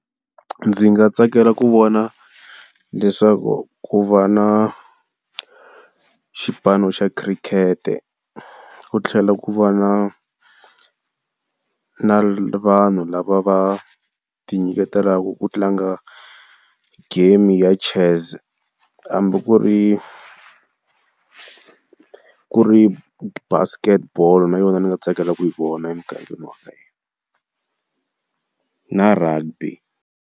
Ndzi nga tsakela ku vona leswaku ku va na xipano xa khirikete, ku tlhela ku va na na vanhu lava va tinyiketelaka ku tlanga game ya Chess, hambi ku ri Ku ri Basket ball na yona ndzi nga tsakela ku yi vona emugangeni wa ka hina na Rugby.